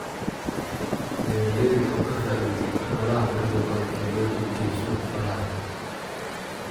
Beeralayda oo ka faa�iidaysata xoolaha quruxda badan ee loo iibgeeyo suuqa xoolaha.